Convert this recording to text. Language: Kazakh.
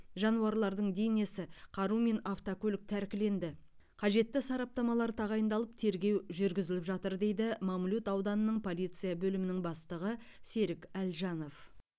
жануарлардың денесі қару мен автокөлік тәркіленді қажетті сараптамалар тағайындалып тергеу жүргізіліп жатыр дейді мамлют ауданының полиция бөлімінің бастығы серік әлжанов